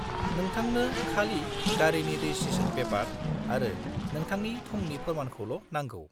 नोंथांनो खालि गारिनि रेजिस्ट्रेसन पेपार आरो नोंथांनि थंनि फोरमानखौल' नांगौ।